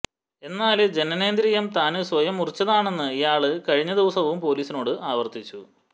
എന്നാല് ജനനേന്ദ്രിയം താന് സ്വയം മുറിച്ചതാണെന്ന് ഇയാള് കഴിഞ്ഞദിവസവും പൊലീസിനോട് ആവര്ത്തിച്ചു